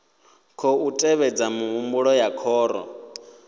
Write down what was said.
khou tevhedza mihumbulo ya khoro